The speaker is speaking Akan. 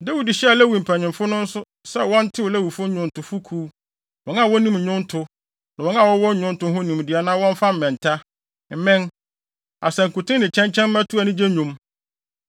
Dawid hyɛɛ Lewifo mpanyimfo no nso sɛ wɔntew Lewifo nnwontofo kuw, wɔn a wonim nnwonto, ne wɔn a wɔwɔ nnwonto ho nimdeɛ na wɔmfa mmɛnta, mmɛn, asankuten ne kyɛnkyɛn mmɛto anigye nnwom.